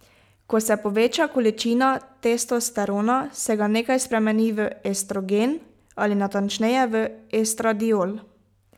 Ko se poveča količina testosterona, se ga nekaj spremeni v estrogen ali natančneje v estradiol.